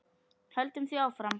Höldum því áfram.